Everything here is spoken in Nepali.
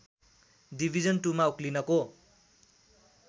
डिभिजन टुमा उक्लिनको